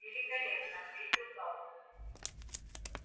великолепно ответил гаал